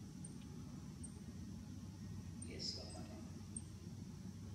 Kesomanin.